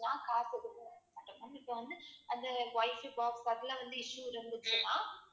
இப்ப வந்து அந்த white box அதுல வந்து issue இருந்ததுன்னா